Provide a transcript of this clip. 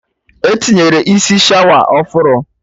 Etinyere isi shawa ọfụrụ